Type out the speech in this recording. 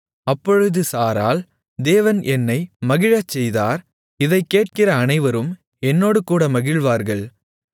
அப்பொழுது சாராள் தேவன் என்னை மகிழச்செய்தார் இதைக்கேட்கிற அனைவரும் என்னோடுகூட மகிழ்வார்கள்